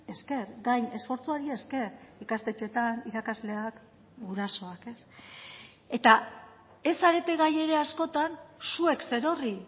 esker gain esfortzuari esker ikastetxeetan irakasleak gurasoak eta ez zarete gai ere askotan zuek zerorri